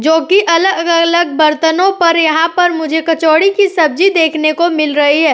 जो कि अलग-अलग बर्तनों पर यहाँ पर मुझे कचौड़ी की सब्जी देखने को मिल रही है।